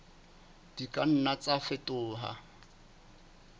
di ka nna tsa fetoha